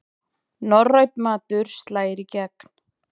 Norrænn matur slær í gegn